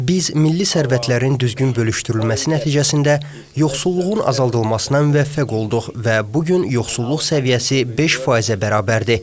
Biz milli sərvətlərin düzgün bölüşdürülməsi nəticəsində yoxsulluğun azaldılmasına müvəffəq olduq və bu gün yoxsulluq səviyyəsi 5%-ə bərabərdir.